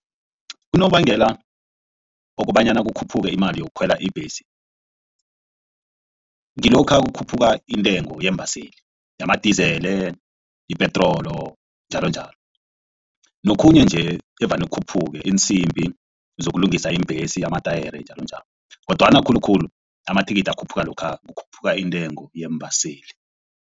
Unobangela wokobanyana kukhuphuke imali yokukhwela ibhesi ngilokha kukhuphuka intengo yeembaseli yamadizele, yepetrolo njalonjalo, nokhunye nje evane khuphuke iinsimbi zokulungisa iimbhesi amatayere njalonjalo. Kodwana khulukhulu amathikithi akhuphuka lokha kukhuphuka intengo yeembaseli.